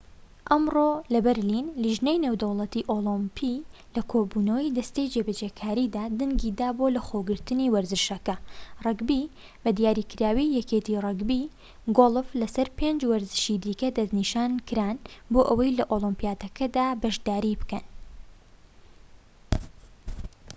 ئەمڕۆ لەبەرلین لیژنەی نێودەوڵەتی ئۆڵمپی لە کۆبوونەوەی دەستەی جێبەجێکاریدا دەنگی دا بۆ لەخۆگرتنی وەرزشەکە ڕەگبی بە دیاریکراوی یەکێتی ڕەگبی و گۆڵف لەسەر پێنج وەرزشی دیکە دەستنیشانکران بۆ ئەوەی لە ئۆلیمپیاتەکاندا بەشداری بکەن